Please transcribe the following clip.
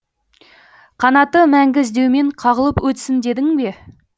қанаты мәңгі іздеумен қағылып өтсін дедің бе